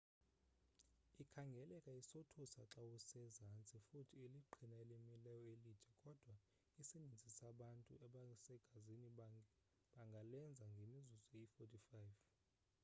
ikhangeleka isothusa xawusezantsi futhi liqhina elimileyo elide kodwa isininzi sabantu abasegazini bangalenza ngemizuzu eyi-45